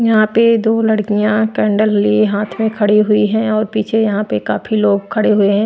यहाँ पे दो लड़कियाँ कैंडल लिए हाथ में खड़ी हुई हैं और पीछे यहाँ पे काफी लोग खड़े हुए हैं।